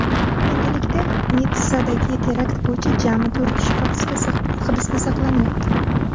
Endilikda Nitssadagi terakt bo‘yicha jami to‘rt kishi hibsda saqlanyapti.